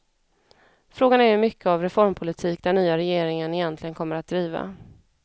Frågan är hur mycket av reformpolitik den nya regeringen egentligen kommer att driva.